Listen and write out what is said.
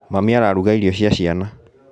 Mami araruga irio cia ciana